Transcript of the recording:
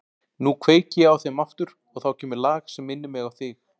Nú kveiki ég á þeim aftur og þá kemur lag sem minnir mig á þig.